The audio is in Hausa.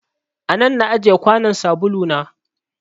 A nan na ajiye kwanon sabulu na.